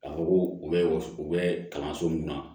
K'a fɔ ko u bɛ u bɛ kalanso min na